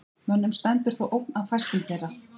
Mönnum stendur þó ógn af fæstum þeirra.